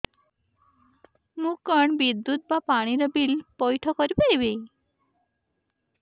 ମୁ କଣ ବିଦ୍ୟୁତ ବା ପାଣି ର ବିଲ ପଇଠ କରି ପାରିବି